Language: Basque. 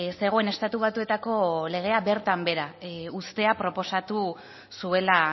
zegoen estatu batuetako legea bertan behera uztea proposatu zuela